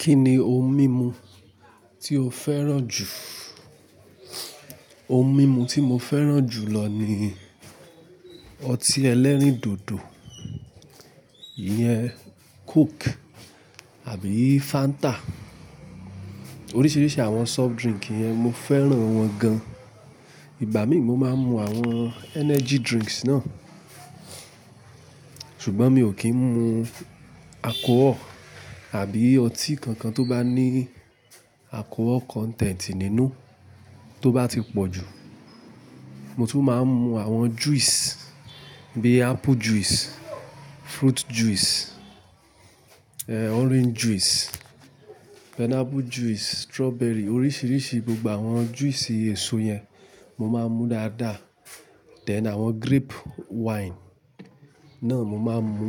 Kí ni ohun mímu tí o fẹ́ràn jù? Ohun mímu tí mo fẹ́ràn jù lọ ni ọtí ẹlẹ́rìndòdò, iyẹn Coke àbí Fanta. Oríṣiríṣi àwọn soft drink yẹn, mo fẹ́ràn wọ́n gan. Ìgbà mi mo máa ń mu àwọn energy drinks náà. Ṣùgbọ́n mi ò kí ń mu alchohol àbí ọtí kankan tó bá ní alchohol content nínú tó bá ti pọ̀ jù. Mo tún máa ń mu àwọn juice bíi apple juice, fruit juice, orange juice, pineapple juice, strawberry, oríṣiríṣi gbogbo àwọn juice èso yẹn mo máa ń mu dáadáa. Then àwọn grape wine náà mo máa ń mu.